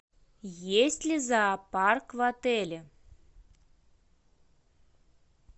есть ли зоопарк в отеле